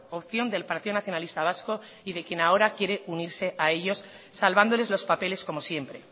opción del partido nacionalista vasco y de quien ahora quiere unirse a ellos salvándoles los papeles como siempre